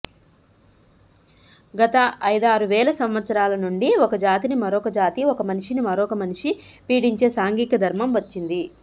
గత ఐదారువేల సంవత్సరాల నుండి ఒకజాతిని మరొక జాతి ఒక మనిషిని మరొక్క మనిషీ పీడించే సాంఘిక ధర్మం వచ్చింది